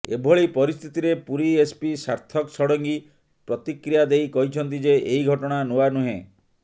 ଏଭଳି ପରିସ୍ଥିତିରେ ପୁରୀ ଏସପି ସାର୍ଥକ ଷଡଙ୍ଗୀ ପ୍ରତିକ୍ରିୟା ଦେଇ କହିଛନ୍ତି ଯେ ଏହି ଘଟଣା ନୂଆ ନୁହେଁ